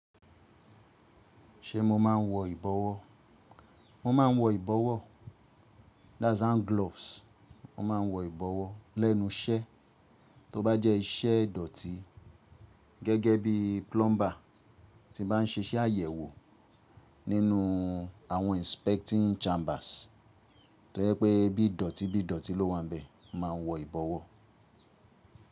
Ṣé mo máa ń wọ ìbọwọ́? Mo máa ń wọ ìbọwọ́. That's hand gloves. Mo máa ń wọ ìbọwọ́ lẹ́nu iṣẹ́, tó bá jẹ́ iṣẹ́ dọ̀tì gẹ́gẹ́ bí plumber tí bá ń ṣe iṣẹ́ àyẹ̀wò nínú àwọn inspecting chambers. To je pé bí dọ̀tí bí dọ̀tí ló wà n bẹ, máa wọ ìbọwọ́.